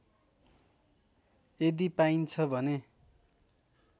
यदि पाइन्छ भने